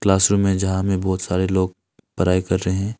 Classroom में यहां में बहुत सारे लोग पढ़ाई कर रहे हैं।